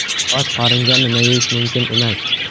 Och qoringa nima yeyish mumkin emas?.